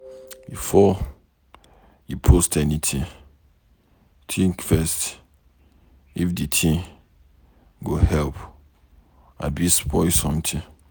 Before you post anything, think first if de thing go help abi spoil something.